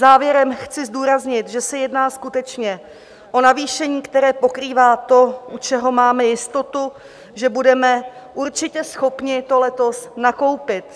Závěrem chci zdůraznit, že se jedná skutečně o navýšení, které pokrývá to, u čeho máme jistotu, že budeme určitě schopni to letos nakoupit.